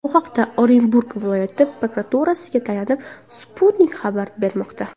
Bu haqda Orenburg viloyati prokuraturasiga tayanib, Sputnik xabar bermoqda .